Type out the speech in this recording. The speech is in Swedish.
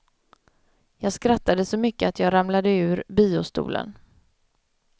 Jag skrattade så mycket att jag ramlade ur biostolen.